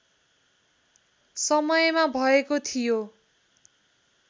समयमा भएको थियो